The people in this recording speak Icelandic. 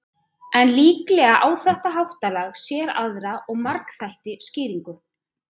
En líklega á þetta háttalag sér aðra og margþættari skýringu.